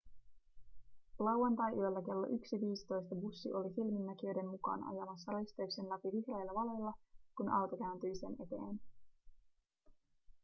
lauantaiyöllä kello 1.15 bussi oli silminnäkijöiden mukaan ajamassa risteyksen läpi vihreillä valoilla kun auto kääntyi sen eteen